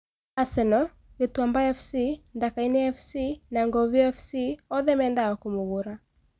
Asenoo, Kituamba Fc, Ndakaine Fc na Nguviu Fc oothe mendaga kũmũgura